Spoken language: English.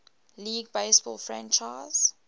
league baseball franchise